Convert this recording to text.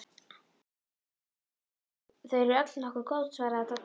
Þau eru öll nokkuð góð svaraði Dadda.